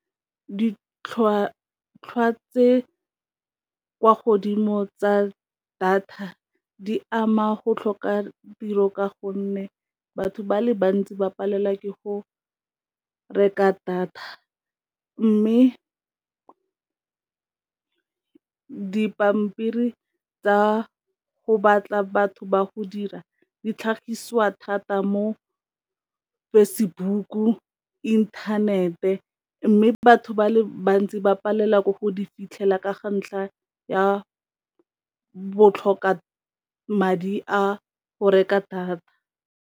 Ditlhwatlhwa tse kwa godimo tsa data di ama go tlhoka tiro ka gonne batho ba le bantsi ba palelwa ke go reka data, mme dipampiri tsa go batla batho ba go dira di tlhagisiwa thata mo Facebook-u, inthanete mme batho ba le bantsi ba palelwa ke go di fitlhelela ka ga ntlha ya botlhoka madi a go reka data.